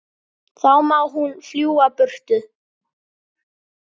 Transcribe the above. Þá má hún fljúga burtu.